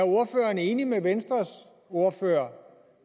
ordføreren er enig med venstres ordfører